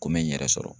Ko me n yɛrɛ sɔrɔ